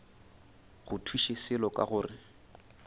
go thuše selo ka gore